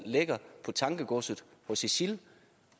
ligger på tankegodset hos isil